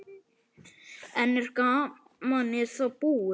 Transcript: En er gamanið þá búið?